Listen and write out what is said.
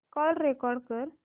call record कर